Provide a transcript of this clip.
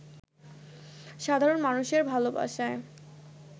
সাধারণ মানুষের ভালোবাসায়